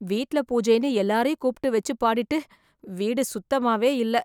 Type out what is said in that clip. வீட்ல பூஜைன்னு எல்லாரையும் கூப்ட்டு வெச்சு, பாடிட்டு... வீடு சுத்தமாவே இல்ல..